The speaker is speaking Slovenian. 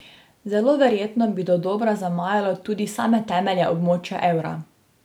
Zelo verjetno bi dodobra zamajalo tudi same temelje območja evra.